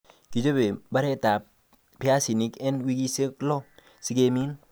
Kichobe mbaretab piasinik en wikisiek lo sikemin